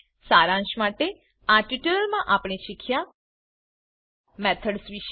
સારાંશ માટે આ ટ્યુટોરીયલમાં આપણે શીખ્યા મેથડ્સ વીશે